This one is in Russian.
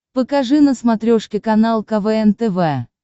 покажи на смотрешке канал квн тв